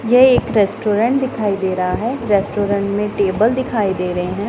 यह एक रेस्टोरेंट दिखाई दे रहा है रेस्टोरेंट में टेबल दिखाई दे रहे हैं।